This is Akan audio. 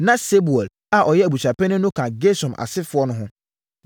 Na Sebuel a ɔyɛ abusuapanin no ka Gersom asefoɔ no ho.